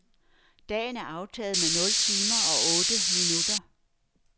Dagen er aftaget med nul timer og otte minutter.